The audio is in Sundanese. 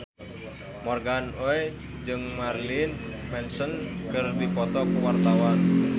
Morgan Oey jeung Marilyn Manson keur dipoto ku wartawan